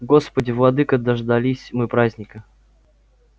господи владыко дождались мы праздника